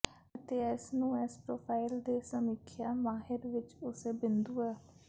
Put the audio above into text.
ਅਤੇ ਇਸ ਨੂੰ ਇਸ ਪ੍ਰੋਫਾਈਲ ਦੇ ਸਮੀਖਿਆ ਮਾਹਿਰ ਵਿੱਚ ਉਸੇ ਬਿੰਦੂ ਹੈ